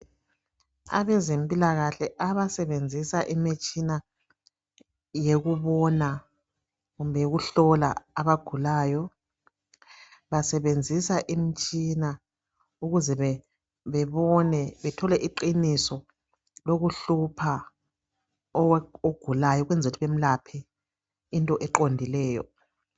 Abezempilakahoe abasebenzisa imitshina yokubona kumbe yokuhlola abagulayo. Basebenzisa imitshina ukuze bebone, bathole iqiniso lokuhlupha ogulayo. Ukwenzela ukuthi bamlaphe into eqondileyo,